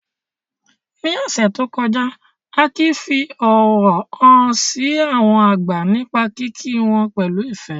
Ní ọ̀sẹ̀ tó kọjá, Akin fi ọ̀wọ̀ hàn sí àwọn àgbà nípa kíkí wọn pẹ̀lú ìfẹ́.